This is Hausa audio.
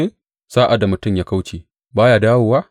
Sa’ad da mutum ya kauce, ba ya dawowa?